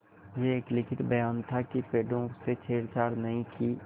यह एक लिखित बयान था कि पेड़ों से छेड़छाड़ नहीं की